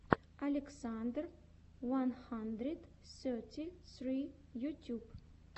александр уан хандрид сети сри ютюб